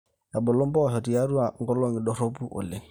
ebulu impoosho tiatua inkolongi dorropu oleng